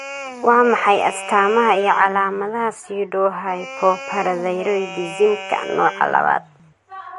Waa maxay astamaha iyo calaamadaha Pseudohypoparathyroidismka nooca labaad?